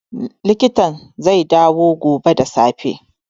Likitan zai dawo gobe da safe